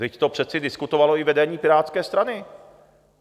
Vždyť to přeci diskutovalo i vedení Pirátské strany.